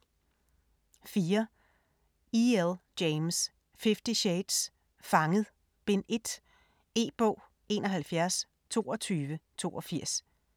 4. James, E. L.: Fifty shades: Fanget: Bind 1 E-bog 712282